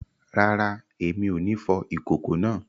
Rara, Èmi o ní fò ikoko náà